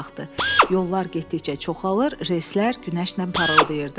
Yollar getdikcə çoxalır, reyslər günəşlə parıldayırdı.